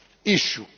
this issue.